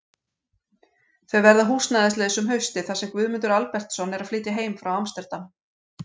Þau verða húsnæðislaus um haustið þar sem Guðmundur Albertsson er að flytja heim frá Amsterdam.